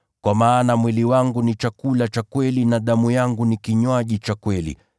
Kwa maana mwili wangu ni chakula cha kweli na damu yangu ni kinywaji cha kweli.